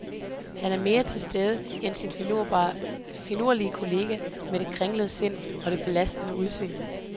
Han er mere til stede end sin finurlige kollega med det kringlede sind og det belastede udseende.